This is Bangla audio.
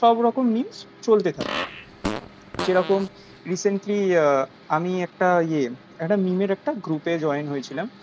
সবরকম memes চলতে থাকে যেরকম recently আহ আমি একটা ইয়ে একটা meme এর একটা group join হয়েছিলাম